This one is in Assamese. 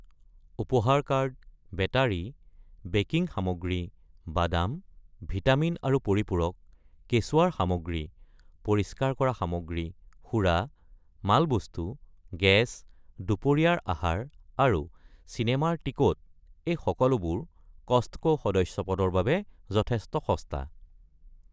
উপহাৰ কাৰ্ড, বেটাৰি, বেকিং সামগ্ৰী, বাদাম, ভিটামিন আৰু পৰিপূৰক, কেঁচুৱাৰ সামগ্ৰী, পৰিষ্কাৰ কৰা সামগ্ৰী, সুৰা, মালবস্তু, গেছ, দুপৰীয়াৰ আহাৰ, আৰু চিনেমাৰ টিকট এই সকলোবোৰ কষ্টক’ সদস্যপদৰ বাবে যথেষ্ট সস্তা।